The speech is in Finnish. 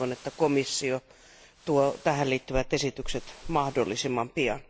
Toivon, että komissio antaa tähän liittyvät esitykset mahdollisimman pian.